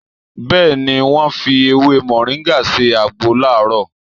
Bẹ́ẹ̀ ni, wọ́n fi ewé Mọ̀ríngà ṣe àgbo láàrọ̀